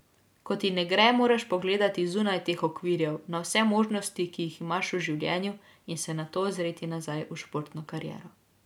Ko ti ne gre, moraš pogledati zunaj teh okvirov, na vse možnosti, ki jih imaš v življenju, in se nato ozreti nazaj v športno kariero.